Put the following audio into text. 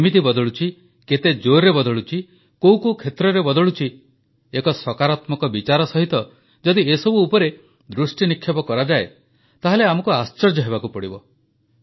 ଇଏ କେମିତି ବଦଳୁଛି କେତେ ଜୋରରେ ବଦଳୁଛି କୋଉ କୋଉ କ୍ଷେତ୍ରରେ ବଦଳୁଛି ଏକ ସକାରାତ୍ମକ ବିଚାର ସହିତ ଯଦି ଏସବୁ ଉପରେ ଦୃଷ୍ଟିନିକ୍ଷେପ କରାଯାଏ ତାହାଲେ ଆମକୁ ଆଶ୍ଚର୍ଯ୍ୟ ହେବାକୁ ପଡ଼ିବ